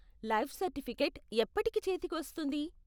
Life certificate ఎప్పటికి చేతికి వస్తుంది?